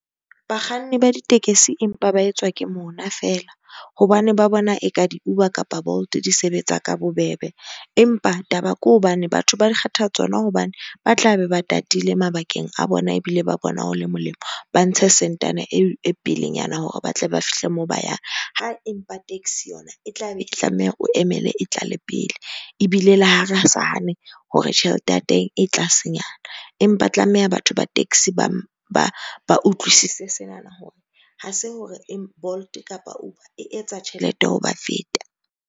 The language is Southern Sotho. Bakganni ba ditekesi empa ba etswa ke mona feela hobane ba bona e ka di-Uber kapa Bolt di sebetsa ka bobebe. Empa taba ke hobane batho ba kgetha tsona hobane ba tla be ba tatile mabakeng a bona ebile ba bona ho le molemo, ba ntshe sentana eo e pelenyana hore ba tle ba fihle moo ba yang. Ha empa taxi yona e tla be e tlameha o emele e tlale pele ebile le ha re sa hane hore tjhelete ya teng teng e tlasenyana. Empa tlameha batho ba taxi ba ba utlwisise sena na hore ha se hore e Bolt kapa Uber e etsa tjhelete ho ba feta.